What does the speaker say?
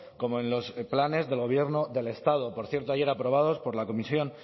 como en los planes del gobierno del estado por cierto ayer aprobados por la comisión